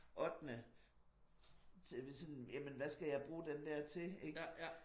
Ottende til hvad sådan jamen hvad skal jeg bruge den der til ik